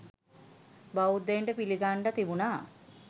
බෞධයින්ට පිළිගන්ඩ තිබුනා